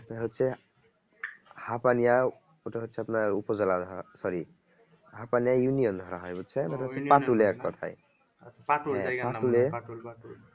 এটা হচ্ছে ওটা হচ্ছে আপনার উপর জেলার হ্যাঁ sorry এক কথায়